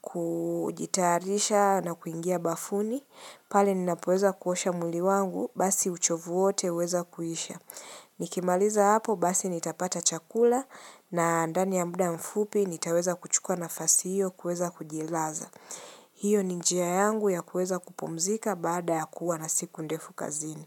kujitayarisha na kuingia bafuni. Pale ninapoweza kuosha mwili wangu, basi uchovu wote huweza kuisha. Nikimaliza hapo basi nitapata chakula na ndani ya muda mfupi, nitaweza kuchuka nafasi hiyo kuweza kujilaza. Hiyo ni njia yangu ya kuweza kupumzika baada ya kuwa na siku ndefu kazini.